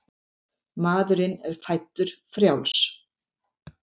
Maðurinn er fæddur frjáls.